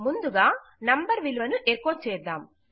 ముందుగా నంబర్ విలువను ఎకొ చేద్దాం